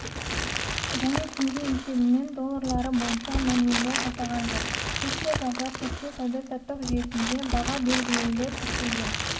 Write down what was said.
және теңге есебімен доллары бойынша мәмілелер жасалған жоқ сессия жабылар сәтте сауда-саттық жүйесінде баға белгілеулер тіркелген